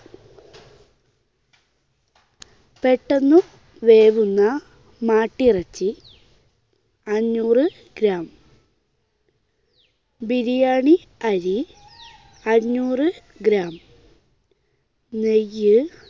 പെട്ടെന്ന് വേവുന്ന മാട്ടിറച്ചി അഞ്ഞൂറ് gram. ബിരിയാണി അരി അഞ്ഞൂറ് gram. നെയ്യ്